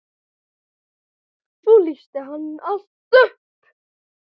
Svo lýsir hann allt upp.